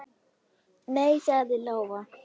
Nei, sagði Lóa.